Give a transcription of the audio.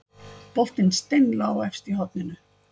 Boltinn steinlá efst í horninu